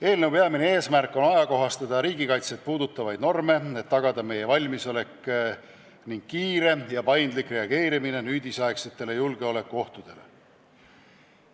Eelnõu peamine eesmärk on ajakohastada riigikaitset puudutavaid norme, et tagada meie valmisolek ning kiire ja paindlik reageerimine nüüdisaegsetele julgeolekuohtudele.